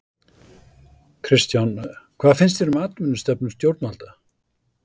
Kristján: Hvað finnst þér um atvinnustefnu stjórnvalda?